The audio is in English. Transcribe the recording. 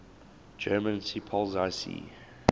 german seepolizei sea